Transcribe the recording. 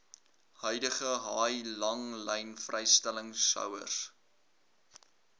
huidige haai langlynvrystellingshouers